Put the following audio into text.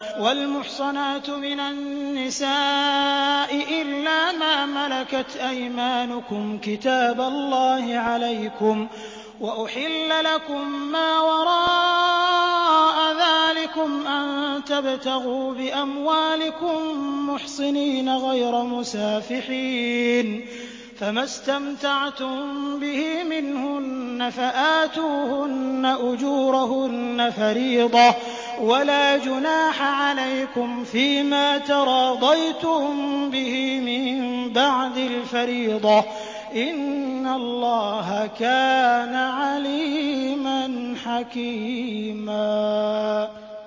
۞ وَالْمُحْصَنَاتُ مِنَ النِّسَاءِ إِلَّا مَا مَلَكَتْ أَيْمَانُكُمْ ۖ كِتَابَ اللَّهِ عَلَيْكُمْ ۚ وَأُحِلَّ لَكُم مَّا وَرَاءَ ذَٰلِكُمْ أَن تَبْتَغُوا بِأَمْوَالِكُم مُّحْصِنِينَ غَيْرَ مُسَافِحِينَ ۚ فَمَا اسْتَمْتَعْتُم بِهِ مِنْهُنَّ فَآتُوهُنَّ أُجُورَهُنَّ فَرِيضَةً ۚ وَلَا جُنَاحَ عَلَيْكُمْ فِيمَا تَرَاضَيْتُم بِهِ مِن بَعْدِ الْفَرِيضَةِ ۚ إِنَّ اللَّهَ كَانَ عَلِيمًا حَكِيمًا